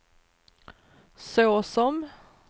såsom